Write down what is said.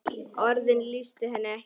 Orðin lýstu henni ekki.